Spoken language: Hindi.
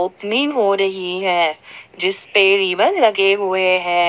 हो रही है जिसपे रिबन लगे हुए हैं।